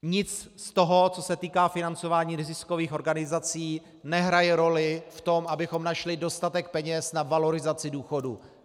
Nic z toho, co se týká financování neziskových organizací, nehraje roli v tom, abychom našli dostatek peněz na valorizaci důchodů.